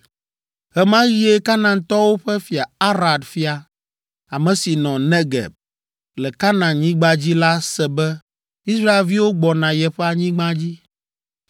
Ɣe ma ɣie Kanaantɔwo ƒe fia, Arad fia, ame si nɔ Negeb, le Kanaanyigba dzi la se be Israelviwo gbɔna yeƒe anyigba dzi.